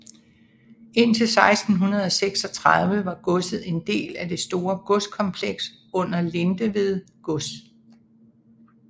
Indtil 1636 var godset en del af det store godskompleks under Lindeved gods